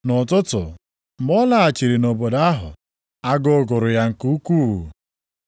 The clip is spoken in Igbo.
Nʼụtụtụ, mgbe ọ laghachiri nʼobodo ahụ, agụụ gụrụ ya nke ukwuu.